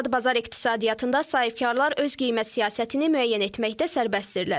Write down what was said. Azad bazar iqtisadiyyatında sahibkarlar öz qiymət siyasətini müəyyən etməkdə sərbəstdirlər.